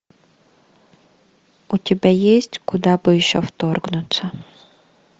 у тебя есть куда бы еще вторгнуться